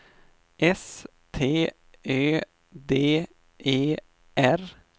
S T Ö D E R